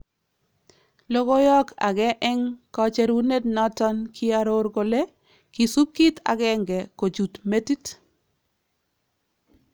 Lokoyook akee en kacherunet noton koiaroor kole " KISUUP KIIT AGENGE KOCHUUT METIT"